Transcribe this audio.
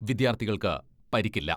വിദ്യാർത്ഥികൾക്ക് പരിക്കില്ല.